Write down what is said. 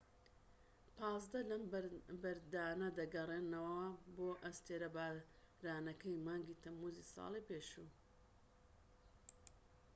پازدە لەم بەردانە دەگەڕێنەوە بۆ ئەستێرە بارانەکەی مانگی تەمموزی ساڵی پێشوو